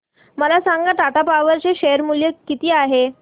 मला सांगा टाटा पॉवर चे शेअर मूल्य किती आहे